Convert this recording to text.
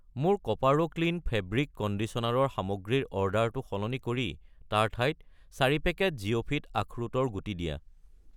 মোৰ কোপাৰো clean fabric conditioner ৰ সামগ্ৰীৰ অৰ্ডাৰটো সলনি কৰি তাৰ ঠাইত 4 পেকেট জিওফিট আখৰোটৰ গুটি দিয়া।